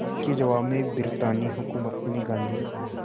इसके जवाब में ब्रितानी हुकूमत ने गांधी